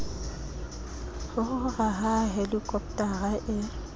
ho rora ha helikopotara e